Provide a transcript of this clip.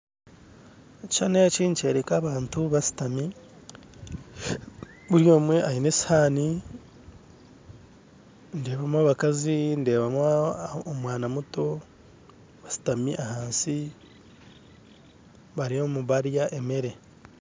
Ekishushani eki nikyereka abantu basitami buri omwe aine esihani ndeebamu abakazi ndebamu omwana muto asutami ahansi bariyo nibarya emere